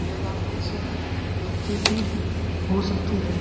यह गाड़ी किसी व्यक्ति की हो सकती है।